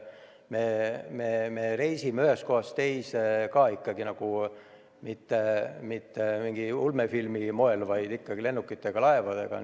Me reisime edaspidigi ühest kohast teise ja ei tee seda ulmefilmilikul moel, vaid ikkagi lennukite ja laevadega.